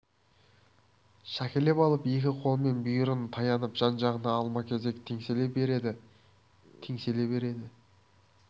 шөкелеп алып екі қолымен бүйірін таянып жан-жағына алма-кезек теңселе береді теңселе береді